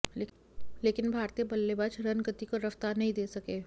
लेकिन भारतीय बल्लेबाज रनगति को रफ्तार नहीं दे सके